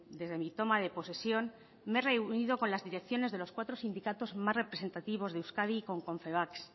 desde mi toma de posesión me reunido con las direcciones de los cuatro sindicatos más representativos de euskadi y con confebask